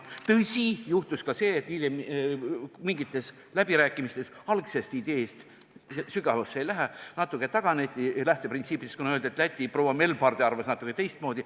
Tõsi, juhtus ka see, et hiljem mingitel läbirääkimistel algse idee lähteprintsiipidest natuke taganeti – sügavusse ma ei lähe –, kuna öeldi, et Läti proua Melbarde arvas natuke teistmoodi.